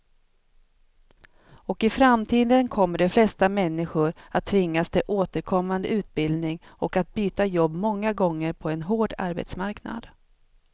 Och i framtiden kommer de flesta människor att tvingas till återkommande utbildning och att byta jobb många gånger på en hård arbetsmarknad.